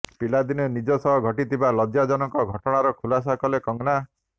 ପିଲାଦିନେ ନିଜ ସହ ଘଟିଥିବା ଲଜ୍ଜାଜନକ ଘଟଣାର ଖୁଲାସା କଲେ କଙ୍ଗନା